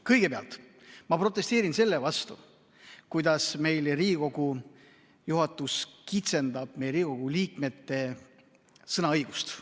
Kõigepealt protesteerin ma selle vastu, kuidas Riigikogu juhatus kitsendab Riigikogu liikmete sõnaõigust.